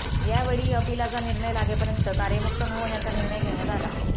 यावेळी अपिलाचा निर्णय लागेपर्यंत कार्यमुक्त न होण्याचा निर्णय घेण्यात आला